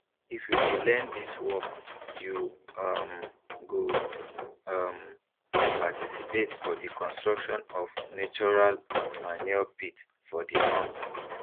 if you dey learn dis work you um go um dey participate for di construction of natural manure pit for di farm